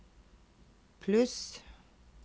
pluss